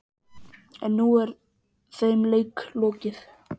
En nú er þeim leik lokið.